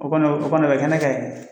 O kɔni o kɔni o bɛ kɛnɛ kan yen.